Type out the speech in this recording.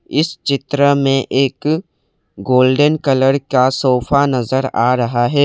इस चित्र में एक गोल्डेन कलर का सोफा नजर आ रहा हैं।